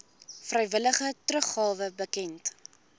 vrywillige teruggawe bekend